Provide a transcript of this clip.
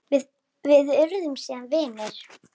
Við urðum síðan vinir.